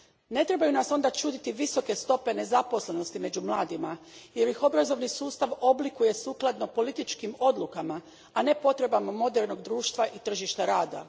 Ne trebaju nas onda čuditi visoke stope nezaposlenosti među mladima jer ih obrazovni sustav oblikuje sukladno političkim odlukama, a ne potrebama modernog društva i tržišta rada.